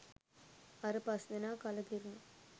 අර පස්දෙනා කලකිරුනා